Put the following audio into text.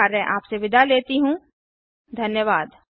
II T Mumbai की ओर से मैं श्रुति आर्य अब आप से विदा लेती हूँ